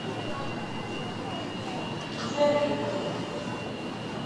жердевкой